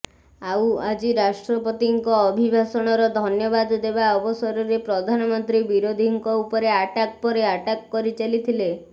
ଆଉ ଆଜି ରାଷ୍ଟ୍ରପତିଙ୍କ ଅଭିଭାଷଣର ଧନ୍ୟବାଦ ଦେବା ଅବସରରେ ପ୍ରଧାନମନ୍ତ୍ରୀ ବିରୋଧୀଙ୍କ ଉପରେ ଆଟାକ ପରେ ଆଟାକ୍ କରିଚାଲିଥିଲେ